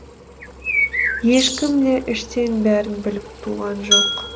ешкім де іштен бәрін біліп туған жоқ